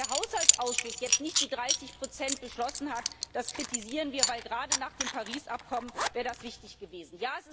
Dass der Haushaltsausschuss jetzt nicht die 30 beschlossen hat, das kritisieren wir, denn gerade nach dem Paris Abkommen wäre das wichtig gewesen.